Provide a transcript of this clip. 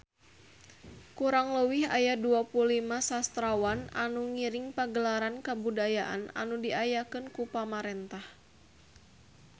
Kurang leuwih aya 25 sastrawan anu ngiring Pagelaran Kabudayaan anu diayakeun ku pamarentah